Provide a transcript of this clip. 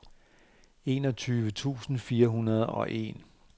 enogtyve tusind fire hundrede og en